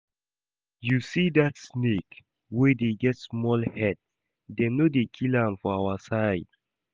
You see that snake wey dey get small head, dem no dey kill am for our side